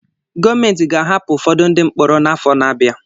Gọọmentị ga-ahapụ ụfọdụ ndị mkpọrọ n'afọ na-abịa.